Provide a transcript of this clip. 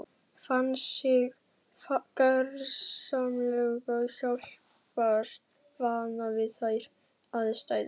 Fann sig gersamlega hjálparvana við þær aðstæður.